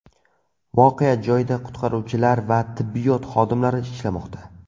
Voqea joyida qutqaruvchilar va tibbiyot xodimlari ishlamoqda.